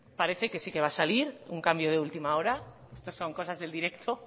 parece que sí que va a salir un cambio de última hora estas son cosas del directo